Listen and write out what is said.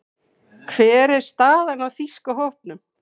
Hver er staðan á þýska hópnum?